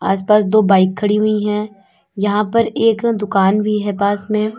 आसपास दो बाइक खड़ी हुई है यहां पर एक दुकान भी है पास में।